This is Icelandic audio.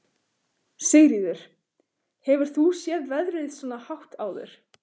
Sigríður: Hefur þú séð verðið svona hátt áður?